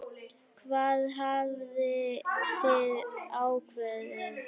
Hvað hafið þið ákveðið?